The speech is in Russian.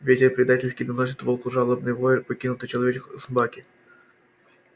ветер предательски доносит волку жалобный вой покинутой человеком собаки